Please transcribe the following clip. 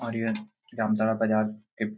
और यह जामताड़ा बाजार के --